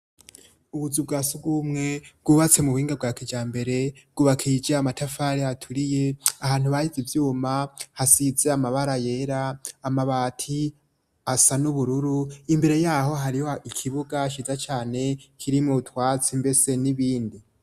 Ubuzu bwasugumwe bwubatse mu buhinga bwake cya mbere gubakije amatafare haturiye ahantu bayize ibyuma hasitse amabara yera amabati asa n'ubururu imbere yaho hariho ikibuga shyiza cyane kirimo utwatsi mbese n'ibindi.